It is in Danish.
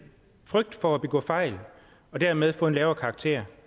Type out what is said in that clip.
frygt for at begå fejl og dermed få en lavere karakter